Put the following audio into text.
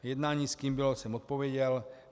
Jednání, s kým bylo, jsem odpověděl.